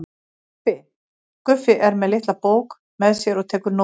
Guffi er með litla bók með sér og tekur nótur.